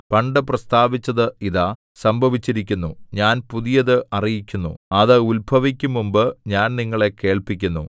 പണ്ടു പ്രസ്താവിച്ചത് ഇതാ സംഭവിച്ചിരിക്കുന്നു ഞാൻ പുതിയത് അറിയിക്കുന്നു അത് ഉത്ഭവിക്കും മുമ്പ് ഞാൻ നിങ്ങളെ കേൾപ്പിക്കുന്നു